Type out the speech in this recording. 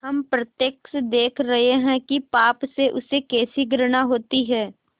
हम प्रत्यक्ष देख रहे हैं कि पाप से उसे कैसी घृणा होती है